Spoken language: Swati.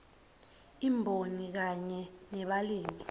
imboni kanye nebalimi